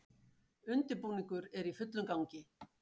Undirbúningur er í fullum gangi